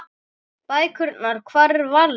Bækurnar Hvar er Valli?